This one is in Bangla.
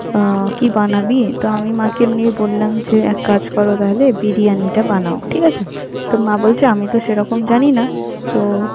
আহ কি বানাবি? তো মাকে আমি এমনি বললাম যে, এক কাজ করো তাহলে, বিরিয়ানিটা বানাও, ঠিক আছে? তো মা বলছে আমি তো সেরকম জানি না তো